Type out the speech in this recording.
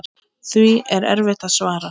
Því er erfitt að svara.